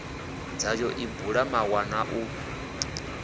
dzayo i bula mawanwa u